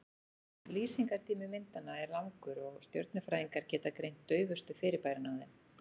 lýsingartími myndanna er langur og stjörnufræðingar geta greint daufustu fyrirbærin á þeim